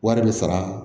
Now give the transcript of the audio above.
Wari bɛ sara